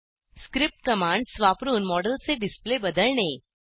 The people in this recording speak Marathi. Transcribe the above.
स्क्रिप्ट कमांड्स वापरून मॉडेलचे डिस्प्ले बदलणे